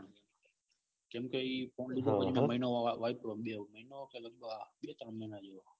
કેમ કે મહિનો બે તન મહિના જેવો